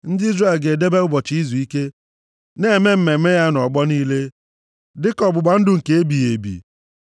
Ndị Izrel ga-edebe ụbọchị Izuike, na-eme mmemme ya nʼọgbọ niile, dịka ọgbụgba ndụ nke ebighị ebi.